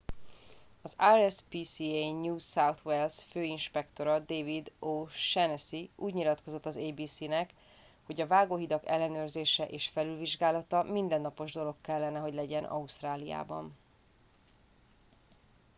az rspca new south wales főinspektora david o'shannessy úgy nyilatkozott az abc nek hogy a vágóhidak ellenőrzése és felülvizsgálata mindennapos dolog kellene hogy legyen ausztráliában